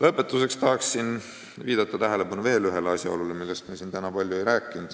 Lõpetuseks tahan viidata veel ühele asjaolule, millest me siin täna palju ei rääkinud.